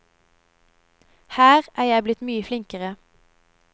Her er jeg blitt mye flinkere.